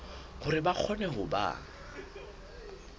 hore ba kgone ho ba